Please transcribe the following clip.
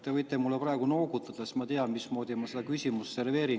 Te võite mulle praegu noogutada, siis ma tean, mismoodi ma seda küsimust serveerin.